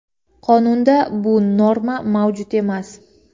Qonunda bu norma mavjud emas.